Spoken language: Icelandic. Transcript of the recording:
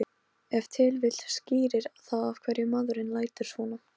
Ég er líka lokaður frá öllu slíku samneyti hér.